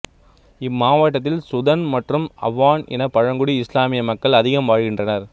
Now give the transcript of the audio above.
இம்மாவட்டத்தில் சுதன் மற்றும் அவான் இன பழங்குடி இசுலாமிய மக்கள் அதிகம் வாழ்கின்றனர்